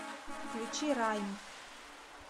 включи райм